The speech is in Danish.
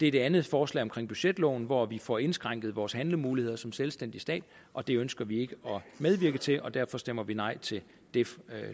er det andet forslag om budgetloven hvor vi får indskrænket vores handlemuligheder som selvstændig stat og det ønsker vi ikke at medvirke til derfor stemmer vi nej til det